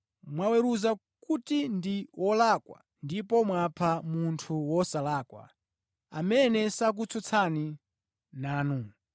Mwaweruza kuti ndi wolakwa ndipo mwapha munthu wosalakwa, amene sakutsutsana nanu.